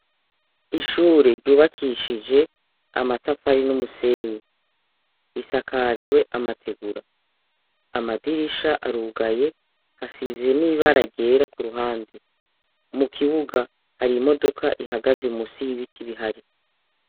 Ishure ryubakishije amatafari n'umusenyi risakajwe amategura. Amadirisha arugaye asize n'ibara ryera ku ruhande. Mu kibuga hari imododoka ihagaze munsi y'ibiti bihari.